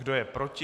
Kdo je proti?